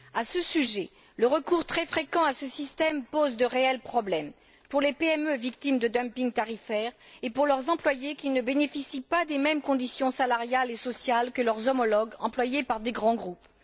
À ce sujet, le recours très fréquent à ce système pose de réels problèmes pour les PME victimes de dumping tarifaire et pour leurs salariés, qui ne bénéficient pas des mêmes conditions salariales et sociales que leurs homologues employés par de grands groupes.